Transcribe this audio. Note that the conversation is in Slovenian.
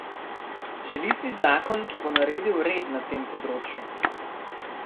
Želi si zakon, ki bo naredil red na tem področju.